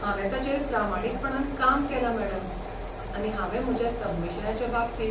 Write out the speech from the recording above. हांवे ताचेर प्रामाणीकपणान काम केलां, मॅडम, आनी हांवें म्हज्या सबमिशनाच्या बाबतींत